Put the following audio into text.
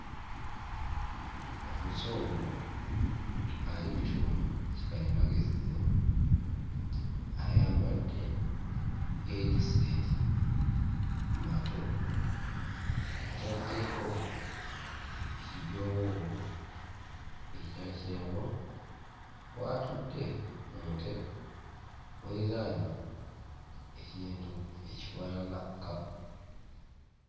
Omuzungu ali ku kyuma kikalimagezi ayambadde heediseeti mu matu, ataddeko ekijoowoowo ekya kyenvu. W'atudde mu ntebe weeriraanye ekintu ekifaanana kkapa.